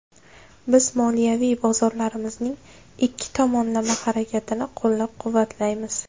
Biz moliyaviy bozorlarimizning ikki tomonlama harakatini qo‘llab-quvvatlaymiz.